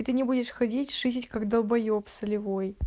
и ты не будешь ходить шизить как долбаеб солевой